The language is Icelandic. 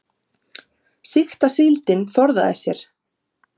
Sýkta síldin forðaði sér